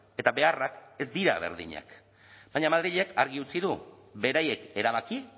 eta beharrak ez dira berdinak baina madrilek argi utzi du beraiek erabaki